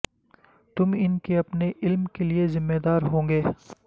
تم ان کے اپنے علم کے لئے ذمہ دار ہوں گے